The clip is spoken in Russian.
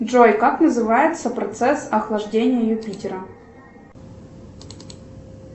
джой как называется процесс охлаждения юпитера